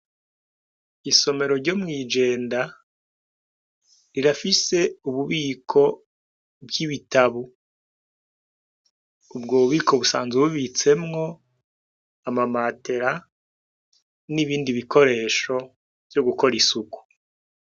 Isomero ryo mw’iJenda rirafise ububiko bw'ibitabu ,ubwo bubiko busanzwe bubitsemwo, amamatera n'ibindi bikoresho vyo gukor’ isuku.